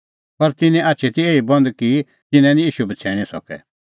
पर तिन्नें आछी ती एही बंद कि तिंयां निं ईशू बछ़ैणीं सकै